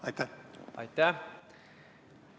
Aitäh!